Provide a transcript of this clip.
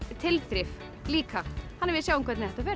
tilþrif líka við sjáum hvernig þetta fer